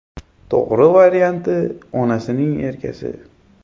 To‘g‘ri varianti “Onasining erkasi”.